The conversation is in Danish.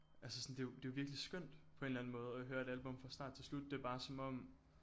Altså sådan det er jo det er jo virkelig skønt på en eller anden måde at høre et album fra start til slut det er bare som om